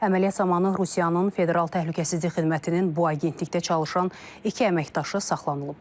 Əməliyyat zamanı Rusiyanın Federal Təhlükəsizlik Xidmətinin bu agentlikdə çalışan iki əməkdaşı saxlanılıb.